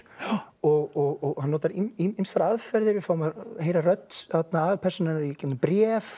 og hann notar ýmsar aðferðir við fáum að heyra rödd aðalpersónunnar í gegnum bréf